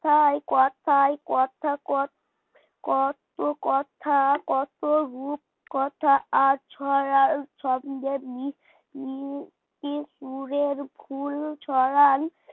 তাই কথায় কথায় কথা কত কথা কত কথা কত রুপ কথা আর ছড়ার ছন্দের মিল সুরের ফুল ছড়ান